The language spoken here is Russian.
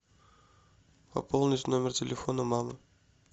пополнить номер телефона мамы